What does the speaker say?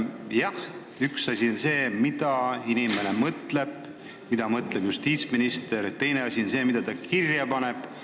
Jah, üks asi on see, mida inimene mõtleb, mida mõtleb justiitsminister, teine asi on see, mida ta kirja paneb.